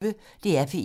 DR P1